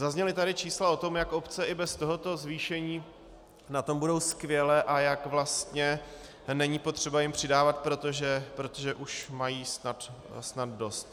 Zazněla tady čísla o tom, jak obce i bez tohoto zvýšení na tom budou skvěle a jak vlastně není potřeba jim přidávat, protože už mají snad dost.